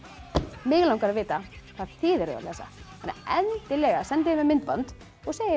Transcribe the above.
mig langar að vita hvað þið eruð að lesa endilega sendið mér myndband og segið mér